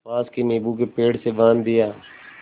पास के नीबू के पेड़ से बाँध दिया